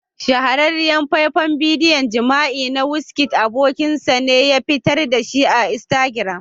Shahararriyar faifan bidiyon jima'i na wizkid abokin nasa ne ya fitar da shi a Instagram.